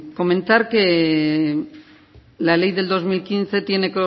comentar que la ley del dos mil quince tiene